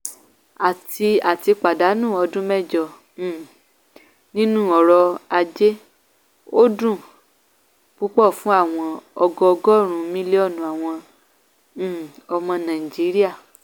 a ti a ti pàdánù ọdún mẹjọ um nínú ọrọ ajé; ó dùn ún púpọ̀ fún àwọn ọgọọgọ́rùn-ún mílíọ̀nù àwọn um ọmọ nàìjíríà